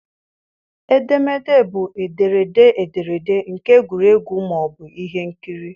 Edemede bụ ederede ederede nke egwuregwu ma ọ bụ ihe nkiri.